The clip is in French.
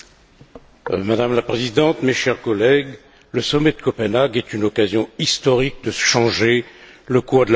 Madame la Présidente, mes chers collègues, le sommet de Copenhague est une occasion historique de changer le sort de la planète.